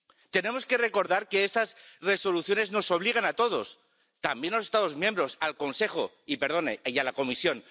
Tenemos que recordar que esas Resoluciones nos obligan a todos, también a los Estados miembros, al Consejo y, perdone, a la Comisión.